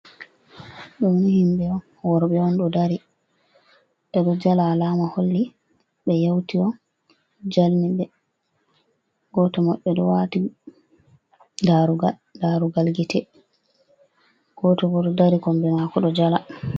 Ɗoni himɓe worɓe on dari ɗo jala, alama holli ɓe yewti on jalni ɓe. Goto maɓɓe ɗo wati darugal, darugal gite. Goto bo ɗo dari kombimako ɗo jala.